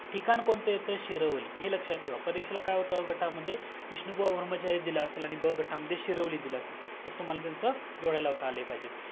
ठिकाण कोणत येतं शिरवली हे लक्ष्यात ठेवा परीक्षेला काय येतं अ गटामद्धे विष्णु बुवा ब्राहमचरि दिला असेल आणि ब गटामद्धे शिरवली दिला असेल तर तुम्हाला त्याचा जोड्या लावता आल्या पाहिजेत